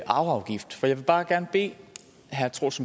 arveafgift for jeg vil bare gerne bede herre troels